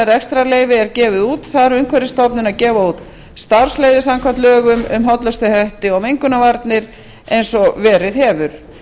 rekstrarleyfi er gefið út þarf umhverfisstofnun að gefa út starfsleyfi samkvæmt lögum um hollustuhætti og mengunarvarnir eins og verið hefur